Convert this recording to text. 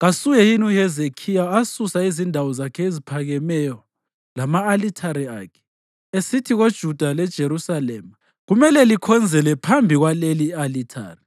kasuye yini uHezekhiya asusa izindawo zakhe eziphakemeyo lama-alithare akhe, esithi kuJuda leJerusalema, “Kumele likhonzele phambi kwaleli i-alithari”?